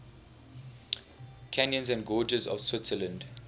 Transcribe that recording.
canyons and gorges of switzerland